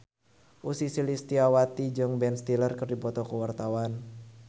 Ussy Sulistyawati jeung Ben Stiller keur dipoto ku wartawan